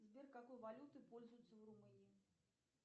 сбер какой валютой пользуются в румынии